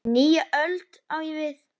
Nýja öld, á ég við.